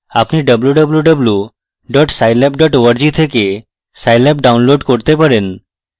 আপনি www scilab org থেকে scilab download করতে পারেন